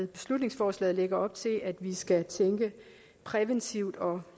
beslutningsforslaget lægger op til at vi skal tænke præventivt og